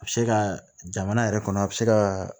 A bɛ se ka jamana yɛrɛ kɔnɔ a bɛ se ka